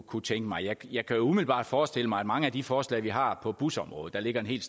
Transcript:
kunne tænke mig jeg kan umiddelbart forestille mig at mange af de forslag vi har på busområdet der ligger en hel